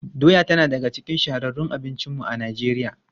Doya tana daga cikin shahararrun abincinmu a Najeriya.